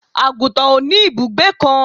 àgùntàn ò ní ìbùgbé kan